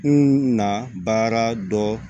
N na baara dɔ